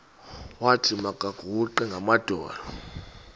wathi makaguqe ngamadolo